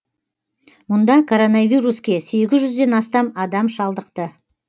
мұнда коронавируске сегіз жүзден астам адам шалдықты